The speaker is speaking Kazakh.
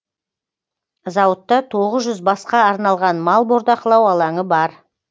зауытта тоғыз жүз басқа арналған мал бордақылау алаңы бар